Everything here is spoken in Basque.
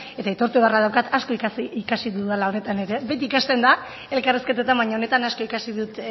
eta aitortu beharra daukat asko ikasi dudala honetan ere beti ikasten da elkarrizketetan baina honetan asko ikasi dut